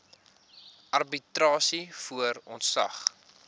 arbitrasie voor ontslag